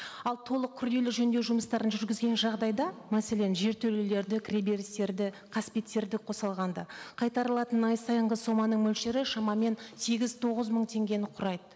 ал толық күрделі жөндеу жұмыстарын жүргізген жағдайда мәселен жертөлелерді кіреберістерді қасбеттерді қоса алғанда қайтарылатын ай сайынғы соманың мөлшері шамамен сегіз тоғыз мың теңгені құрайды